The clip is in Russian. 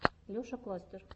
леша кластер